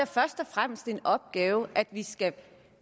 først og fremmest den opgave at vi skal